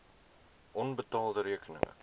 onbetaalde rekeninge